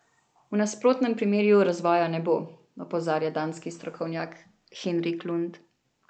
V nasprotnem primeru razvoja ne bo, opozarja danski strokovnjak Henrik Lund.